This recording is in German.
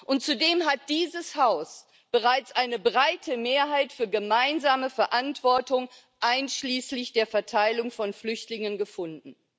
Und zudem hat dieses Haus bereits eine breite Mehrheit für gemeinsame Verantwortung einschließlich der Verteilung von Flüchtlingen gefunden.